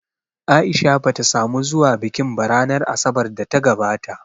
A’isha bata samu zuwa bikin ba ranar Asabar da ta gabata